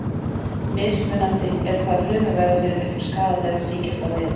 Mismunandi er hvað frumur verða fyrir miklum skaða þegar þær sýkjast af veirum.